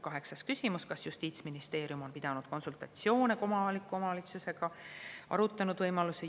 Kaheksas küsimus on, kas Justiitsministeerium on pidanud konsultatsioone kohaliku omavalitsusega ja arutanud võimalusi.